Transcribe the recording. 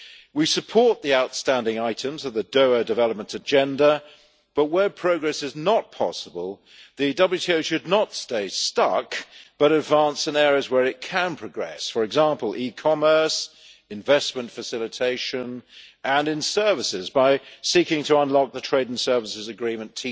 We support the outstanding items of the Doha Development Agenda, but where progress is not possible, the WTO should not stay stuck but advance in areas where it can progress, for example, e commerce, investment facilitation, and in services by seeking to unlock the Trade in Services Agreement